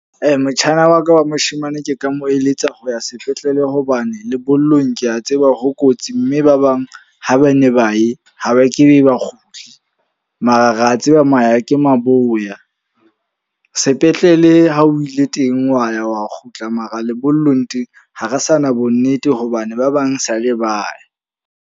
Motjhana wa ka wa moshemane ke ka mo eletsa ho ya sepetlele. Hobane lebollong ke a tseba ho kotsi. Mme ba bang ha ba ne ba ye ha ba ke be ba kgutle. Mara ra tseba maya ke maboya. Sepetlele ha o ile teng wa ya wa kgutla, mara lebollong teng ha re sa na bo nnete hobane ba bang sa le ba ya.